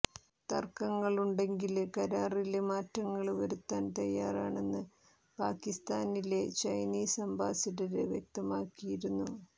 തര്ക്കങ്ങളുണ്ടെങ്കില് കരാറില് മാറ്റങ്ങള് വരുത്താന് തയ്യാറാണെന്ന് പാകിസ്താനിലെ ചൈനീസ് അംബാസിഡര് വ്യക്തമാക്കിയിരുന്നു